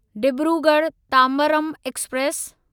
Dibrugarh Tambaram express